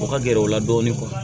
O ka gɛrɛ o la dɔɔnin